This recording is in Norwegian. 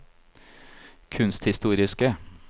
kunsthistoriske